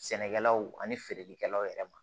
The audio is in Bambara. Sɛnɛkɛlaw ani feerelikɛlaw yɛrɛ ma